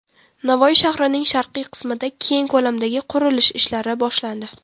Navoiy shahrining sharqiy qismida keng ko‘lamdagi qurilish ishlari boshlandi.